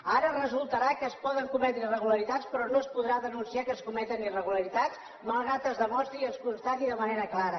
ara resultarà que es poden cometre irregularitats però no es podrà denunciar que es cometen irregularitats malgrat que es demostri i es constati de manera clara